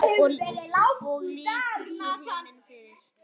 Og lýkur svo: Himinn yfir.